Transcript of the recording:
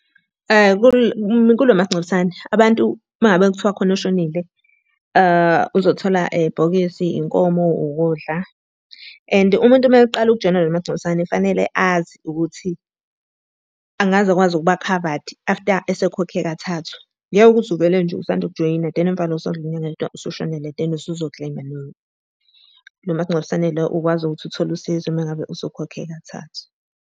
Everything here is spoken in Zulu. Ku lo masingcwabisane abantu uma ngabe kuthiwa khona oshonile, uzothola ibhokisi, inkomo, ukudla. And umuntu uma eqala ukujoyina lo masingcwabisane fanele azi ukuthi angaze akwazi ukuba khavadi after esekhokhe kathathu. Ngeke ukuthi uvele nje usanda ukujoyina then emva kwalokho sedlule inyanga eyodwa usushonelwe, then usuzo claim-a, no. Lo masingcwabisane lo ukwazi ukuthi uthole usizo uma ngabe usukhokhe kathathu.